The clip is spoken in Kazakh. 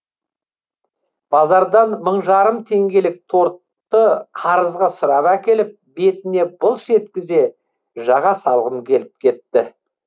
базардан мың жарым теңгелік тортты қарызға сұрап әкеліп бетіне былш еткізе жаға салғым келіп кетті